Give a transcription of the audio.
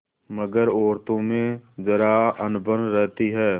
मगर औरतों में जरा अनबन रहती है